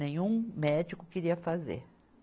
Nenhum médico queria fazer.